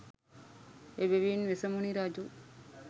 එබැවින් වෙසමුණි රජු